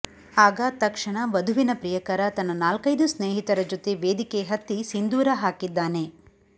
ಆಗ ತಕ್ಷಣ ವಧುವಿನ ಪ್ರಿಯಕರ ತನ್ನ ನಾಲ್ಕೈದು ಸ್ನೇಹಿತರ ಜೊತೆ ವೇದಿಕೆ ಹತ್ತಿ ಸಿಂಧೂರ ಹಾಕಿದ್ದಾನೆ